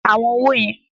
Ka àwọn owó yẹn!